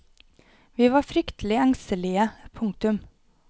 Vi var fryktelig engstelige. punktum